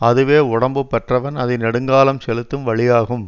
அதுவே உடம்பு பெற்றவன் அதை நெடுங்காலம் செலுத்தும் வழியாகும்